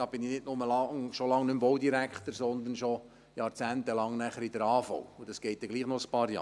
Dann bin ich nicht nur schon lange nicht mehr Baudirektor, sondern schon jahrzehntelang in der AHV, und das dauert dann doch noch ein paar Jahre.